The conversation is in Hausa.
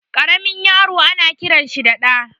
Karamin yaro ana kiransa da Ɗa